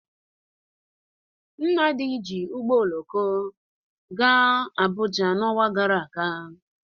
Nnadi ji ụgbọ oloko gaa Abuja n'ọnwa gara aga.